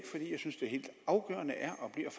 synes det helt afgørende er og bliver